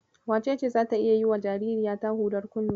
Wacece zata iya yiwa jaririyata hudar kunne?